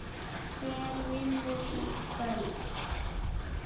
Hver vinnur í kvöld?